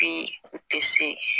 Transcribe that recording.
Bi u tɛ se